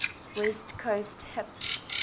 west coast hip